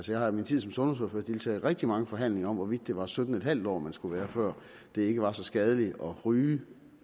jeg har i min tid som sundhedsordfører deltaget i rigtig mange forhandlinger om hvorvidt det var sytten en halv år man skulle være før det ikke var så skadeligt at ryge